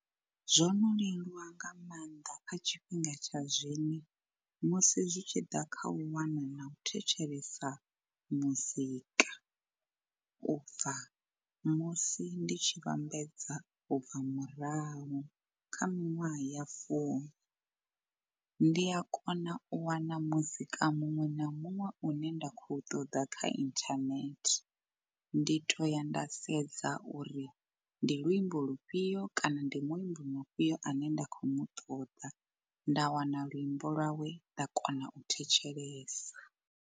Zwo no leluwa nga maanḓa kha tshifhinga tsha zwino musi zwi tshi ḓa kha u wana na u thetshelesa muzika. U bva musi ndi tshi vhambedza ubva murahu kha minwaha ya fumi, ndi a kona u wana muzika muṅwe na muṅwe u ne nda khou ṱoḓa kha internet, ndi to ya nda sedza uri ndi luimbo lufhio kana ndi muimbi mufhio ane nda khou mu ṱoḓa nda wana luimbo lwawe nda kona u thetshelesa.